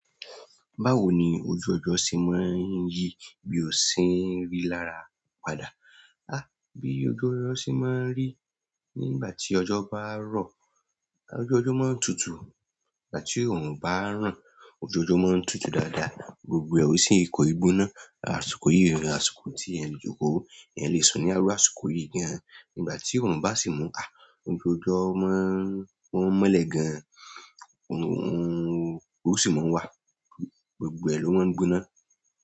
Báwo ni ojú ọjọ́ ṣe máa ń yí bí ò sin rí lára padà? Há! Bí ojú ọjọ́ ṣe máa ń rí nígbà tí ọjọ́ bá rọ̀, ojú ọjọ́ máa ń tutù. Nígbà tí òrún bá ń ran, ojú ọjọ́ máa ń tutù dáadáa, gbogbo o sì kó i gbóná. Àsùkò yìí rí, àṣùkò tí ẹni joko yẹn lè sùn ní àárọ̀ àṣùkò yìí gan-an. Nígbà tí òrún bá sì mú há, ojú ọjọ́ máa ń mọ́lẹ̀ gan-an, òrún sì máa ń wà, gbogbo ẹ lọ́ ń gbóná.